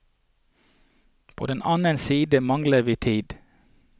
På den annen side mangler vi tid.